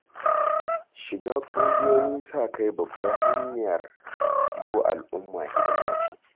Shiga ƙungiyoyin sa-kai babbar hanyar yi wa al'umma hidima ce.